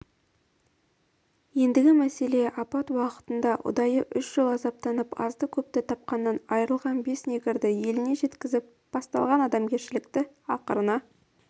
ендігі мәселе апат уақытында ұдайы үш жыл азаптанып азды-көпті тапқанынан айрылған бес негрді еліне жеткізіп басталған адамгершілікті ақырына